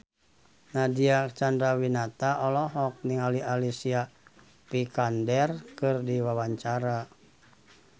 Nadine Chandrawinata olohok ningali Alicia Vikander keur diwawancara